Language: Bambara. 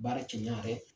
Baara kɛ ɲan yɛrɛ